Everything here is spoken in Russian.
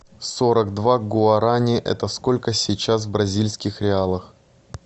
сорок два гуарани это сколько сейчас в бразильских реалах